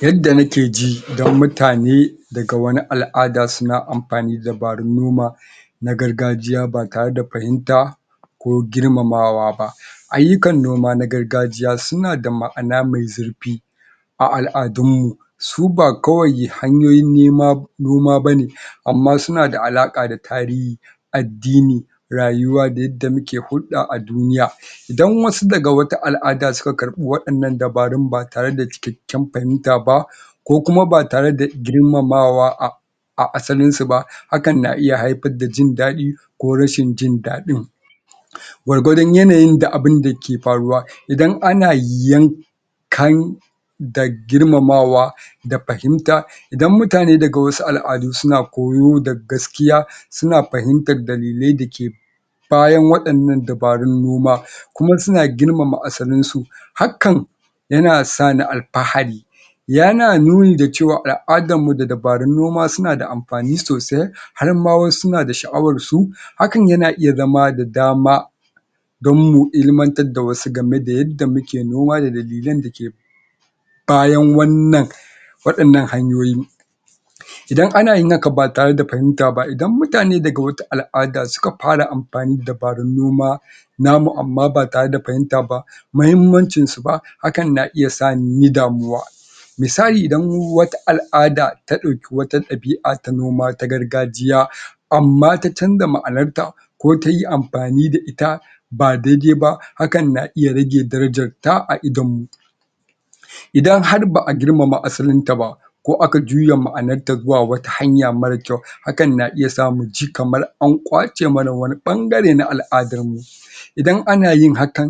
Yadda nake ji idan mutane daga wani al'ada suna amfani da dabarun noma na gargajiya ba tare da fahimta ko girmamawa ba ayyukan noma na gargajiya suna da ma'ana me zurfi a al'adun mu su ba kawai hanyoyin noma bane amma suna da alaƙa da tarihi, addini, rayuwa da yadda muke hurɗa a duniya idan wasu daga wata al'ada suka karɓi waɗannan dabarun ba tare da cikakken fahimta ba ko kuma ba tare da girmamawa a a asalin su ba hakan na iya haifar da jin daɗi ko rashin jin daɗin gwargwadon yanayin da abinda ke faruwa idan ana yankan da girmamawa da fahimta idan mutane daga wasu al'adu suna koyo da gaskiya suna fahimtar dalilai da ke bayan waɗannan dabarun noma kuma suna girmama asalin su hakan yana sani alfahari yana nuni da cewa al'adan mu da dabarun noma suna da amfani sosai har ma wai suna da sha'awan su hakan yana iya zama da dama don mu ilmantar da wasu game da yadda muke noma da dalilan da ke bayan wannan waɗannan hanyoyi idan ana yin haka ba tare da fahimta ba, idan mutane daga wata al'ada suka fara amfani da dabarun noma namu amma ba tare da fahimta ba mahimmancin su ba hakan na iya sani inyi damuwa misali idan wata al'ada ta ɗauki wata ɗabi'a ta noma ta gargajiya amma ta canja ma'anar ta ko tayi amfani da ita ba dai-dai ba hakan na iya rage darajar ta a idon mu idan har ba'a girmama asalin ta ba ko aka juya ma'anar ta zuwa wata hanya mara kyau hakan na iya sa mu ji kamar an ƙwace mana wani ɓangare na al'adar mu idan ana yin hakan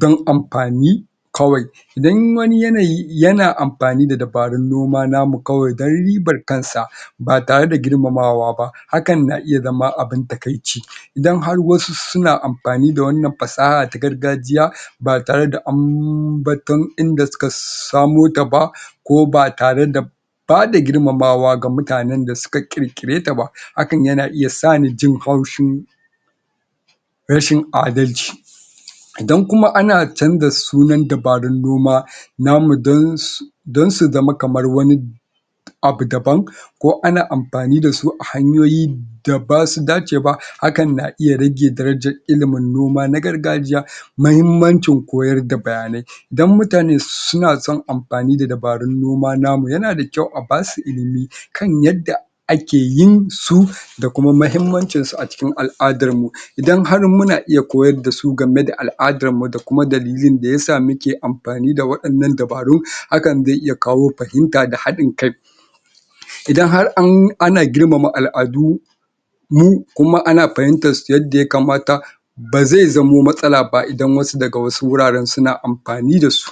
dan amfani kawai idan wani yanayi yana amfani da dabarun noma namu kawai dan ribar kan sa ba tare da girmamawa ba hakan na iya zama abin takaici idan har wasu suna amfani da wannan fasaha ta gargajiya ba tare da ambaton inda suka samo ta ba ko ba tare da bada girmamawa ga mutanen da suka ƙirƙire ta ba hakan yana iya sani jin haushin rashin adalci idan kuma ana canza sunan dabarun noma namu dan su dan su zama kamar wani abu daban ko ana amfani da su a hanyoyi da basu dace ba hakan na iya rage darajar ilimin noma na gargajiya mahimmancin koyar da bayanai dan mutane suna son amfani da dabarun noma namu yana da kyau a basu ilimi kan yadda ake yin su da kuma mahimmancin su a cikin al'adan mu idan har muna iya koyar da su game da al'adar mu da kuma dalilin da yasa muke amfani da waɗannan dabaru hakan zai iya kawo fahimta da haɗin kai idan har ana girmama al'adu mu kuma ana fahimtar su yadda yakamata ba zai zamo matsala ba, idan wasu daga wasu wuraren suna amfani da su.